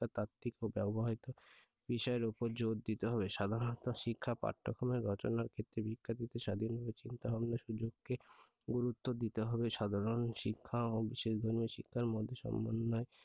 তাত্ত্বিক ও ব্যবহারিক বিষয়ের উপর জোর দিতে হবে সাধারণত শিক্ষা পাঠ্যক্রম এর রচনার ক্ষেত্রে শিক্ষার্থীদের স্বাধীনভাবে চিন্তাভাবনার সুযোগকে গুরুত্ব দিতে হবে সাধারণ শিক্ষা বিশেষ ধরনের শিক্ষার মধ্যে সমন্বয়